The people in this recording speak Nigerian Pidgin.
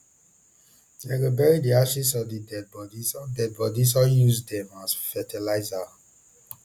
dem go burty di ashes of di deadibodies or deadibodies or use dem as fertiliser